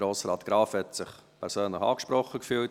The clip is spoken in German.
Grossrat Graf hat sich angesprochen gefühlt.